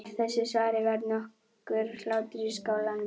Af þessu svari varð nokkur hlátur í skálanum.